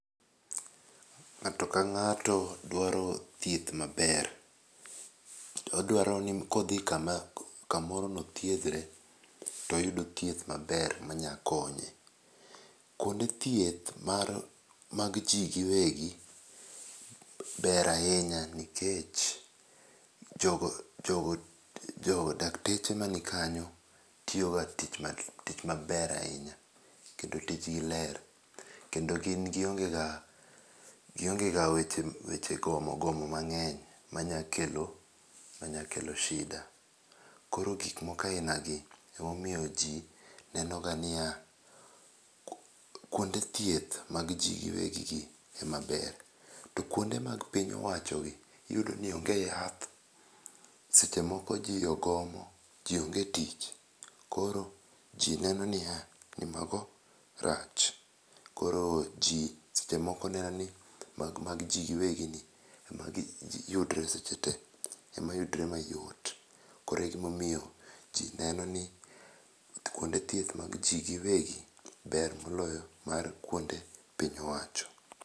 Ng'ato ka ng'ato dwaro thieth maber. Odwaro ni kodhi kamoro nothiedhre, toyud thieth maber manya konye. Kuonde thieth mag ji giwegi, ber ahinya, nikech dakteche manikanyo tiyo ga tich maber ahinya. Kendo tijgi ler kendo gin gionge ga weche gomo gomo mang'eny manya kelo shida. Koro gikmoko ainagi emomiyo ji nenoga niya, kuonde thieth mag ji giwegi ema ber. To kuonde mag piny owachogi iyudo ni onge yath, seche moko ji ogomo, ji onge e tich koro ji neno ya ni mago rach. Koro ji seche moko neno ni mag ji giwegi ni ema yudre seche te, ema yudre mayot. koro e gimomiyo ji neno ni kuonde thieth mag ji giwegi, ber moloyo mar piny owacho.